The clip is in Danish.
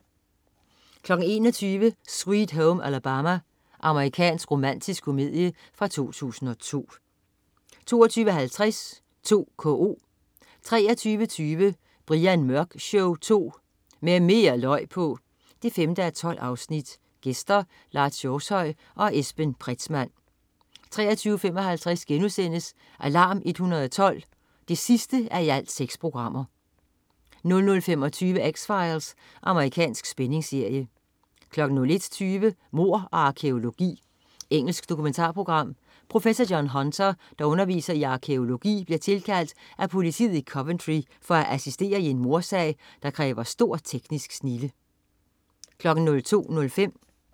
21.00 Sweet Home Alabama. Amerikansk romantisk komedie fra 2002 22.50 2KO 23.20 Brian Mørk Show 2. Med mere løg på! 5:12. Gæster: Lars Hjortshøj og Esben Pretzmann 23.55 Alarm 112 6:6* 00.25 X-Files. Amerikansk spændingsserie 01.20 Mord og arkæologi. Engelsk dokumentarprogram. Professor John Hunter, der underviser i arkæologi, bliver tilkaldt af politiet i Coventry for at assistere i en mordsag, der kræver stor teknisk snilde